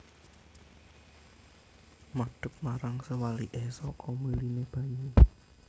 Madep marang sewaliké saka miliné banyu